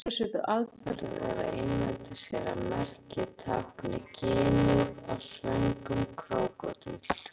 Önnur svipuð aðferð er að ímynda sér að merkið tákni ginið á svöngum krókódíl.